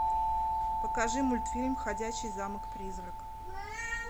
покажи мультфильм ходячий замок призрак